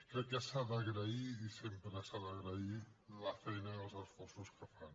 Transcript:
crec que s’ha d’agrair i sempre s’ha d’agrair la feina i els esforços que fan